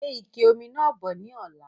Gbe ike omi náà bọ̀ ni ọ̀la!